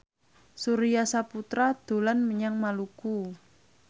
Surya Saputra dolan menyang Maluku